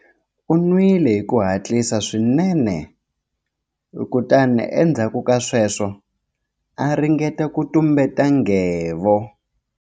U nwile hi ku hatlisa swinene kutani endzhaku ka sweswo a ringeta ku tumbeta nghevo.